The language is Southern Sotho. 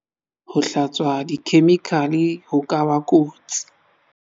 ho hlatswa dikhemikale ho ka ba kotsi